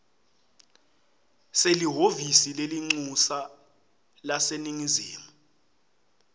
selihhovisi lelincusa laseningizimu